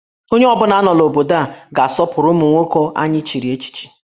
Onye ọ bụla nọ n'obodo a ga-asọpụrụ ụmụ nwoke anyị echiri echichi